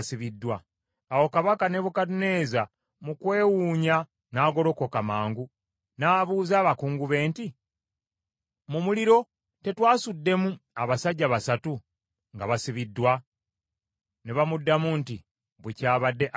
Awo Kabaka Nebukadduneeza, mu kwewuunya n’agolokoka mangu n’abuuza abakungu be nti, “Mu muliro tetwasuddemu abasajja basatu nga basibiddwa?” Ne bamuddamu nti, “Bwe kyabadde, ayi kabaka.”